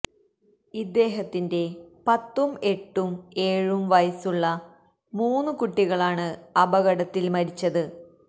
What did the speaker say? ഇദ്ദേഹത്തിന്റെ പത്തും എട്ടും ഏഴും വയസ്സുള്ള മൂന്ന് കുട്ടികളാണ് അപകടത്തിൽ മരിച്ചത്